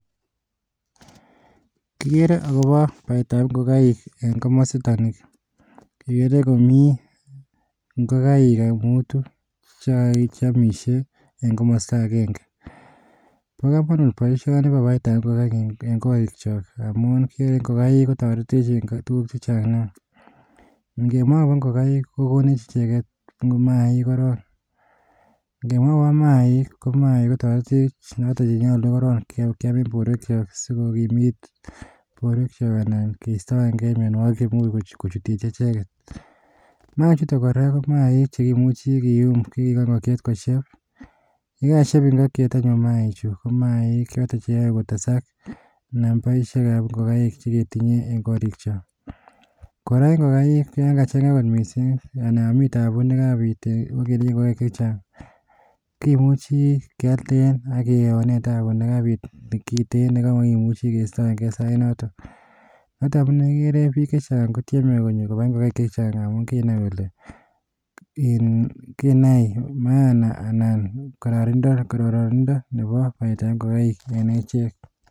Kigere akobo baetab ingokaik en komositok ni, kigere komi ingokaik mutu cheomisie en komosto agenge Bo komonut, boishoni bo baetab ingokaik en korikyook amun ingogaik kotoretech en tuguuk chechang Nia. Ingemwa akobo ingokaik kokonech icheket mainik koron, ingemwa akobo maik, ko maik kotoretech en borwekchok sikokiimit borwekchok. Anan keistoenge mionwogiik cheimuch kochuutyei echeket. Mainik chu kora ko mainik chekimuche kiyuum, ak kikochi ingokyeet kosheeb. Yekasheb ingokyeet anyun maichi, ko maik choton cheyoe kotesaak nambaisiek ab ingokaik cheketinyee en korikyook. Kora ko ingokaik yon kachanga kot missing, anai yon mii tabuu nekabiit am ketinye ingokenik chechang, kimchi kealdeen am kewoneen tabu nekabiit nekiten nekamakimuchu keistoengee noton Notok amune igere biik chechang kotyeme kobai ingokaik chechang amun kinai kole mana anan kororonindo nebo baetab ingokaik en echek.